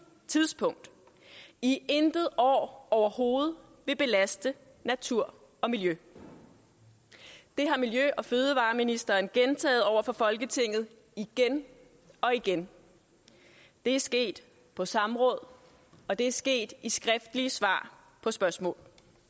tidspunkt i intet år overhovedet vil belaste natur og miljø det har miljø og fødevareministeren gentaget over for folketinget igen og igen det er sket på samråd og det er sket i skriftlige svar på spørgsmål